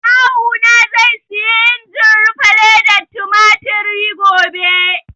Kawu na zai siyi injin rufe ledar tumatir gobe